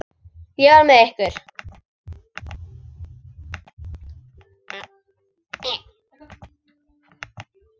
Ég verð með ykkur.